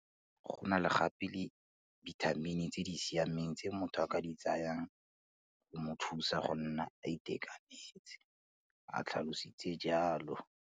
Go na gape le dibitamini tse di siameng tse motho a ka di tsayang go mo thusa go nna a itekanetse, o tlhalositse jalo.